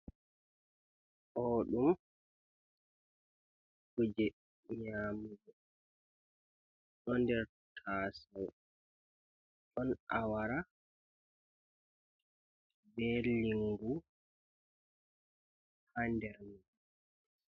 odum kuje nyamugo doder tasawo don awara berlingu. ha dermi